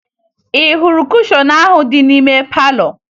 Ị hụrụ kushọn ahụ dị n'ime palọ?